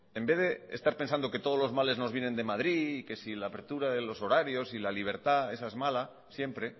en vez de estar pensando que todos los males nos vienen de madrid y que si la apertura de los horarios y la libertad esa es mala siempre